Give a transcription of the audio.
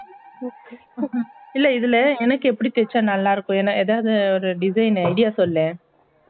இல்ல இதுல என்னக்கு எப்பிடி தேச்சா நல்லா இருக்கும் ஏன்னா எதாவது design idea சொல்லே